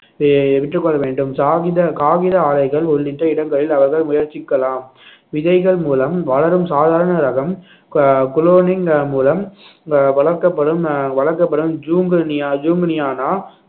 we~ விற்றுக்கொள்ள வேண்டும் காகித காகித ஆலைகள் உள்ளிட்ட இடங்களில் அவர்கள் முயற்சிக்கலாம் விதைகள் மூலம் வளரும் சாதாரண ரகம் கு~ குளோனிங் மூலம் அஹ் வளர்க்கப்படும் அஹ் வளர்க்கப்படும்